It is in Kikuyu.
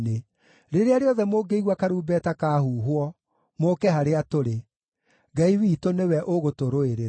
Rĩrĩa rĩothe mũngĩigua karumbeta kaahuhwo, mũũke harĩa tũrĩ. Ngai witũ nĩwe ũgũtũrũĩrĩra!”